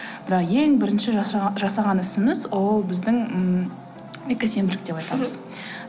бірақ ең бірінші жасаған ісіміз ол біздің ммм экосенбілік деп айтамыз мхм